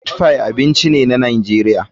Meatpie abinci ne na Najeriya.